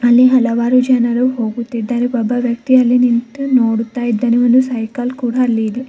ಅಲ್ಲಿ ಹಲವಾರು ಜನರು ಹೋಗುತ್ತಿದ್ದಾರೆ ಒಬ್ಬ ವ್ಯಕ್ತಿ ಅಲ್ಲಿ ನಿಂತು ನೋಡುತ್ತಾ ಇದ್ದಾನೆ ಒಂದು ಸೈಕಲ್ ಕೂಡ ಅಲ್ಲಿ ಇದೆ.